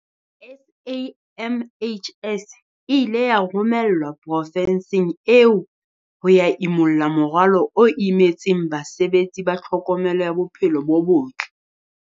SAMHS e ile ya romelwa profenseng eo ho ya imulla morwalo o imetseng basebetsi ba tlhokomelo ya bophelo bo botle.